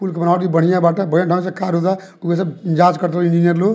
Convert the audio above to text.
पूल की बनावटी बढ़िया बाटे बढ़िया ढंग से कार्य होता उधर जांच करता इंजीनियर लोग।